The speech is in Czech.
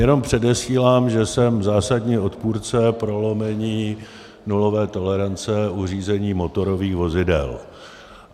Jenom předesílám, že jsem zásadní odpůrce prolomení nulové tolerance u řízení motorových vozidel.